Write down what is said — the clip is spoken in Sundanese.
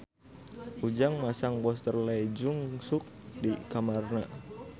Ujang masang poster Lee Jeong Suk di kamarna